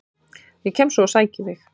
Ég kem svo og sæki þig.